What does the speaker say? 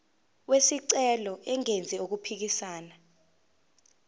wesicelo engenzi okuphikisana